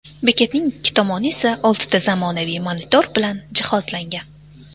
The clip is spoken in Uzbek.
Bekatning ikki tomoni esa oltita zamonaviy monitor bilan jihozlangan.